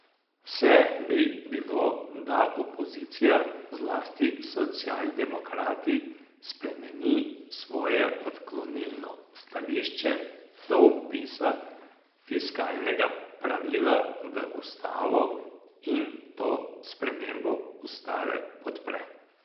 Vse bi bilo, da opozicija, zlasti socialdemokrati, spremeni svoje odklonilno stališče do vpisa fiskalnega pravila v ustavo in to spremembo ustave podpre.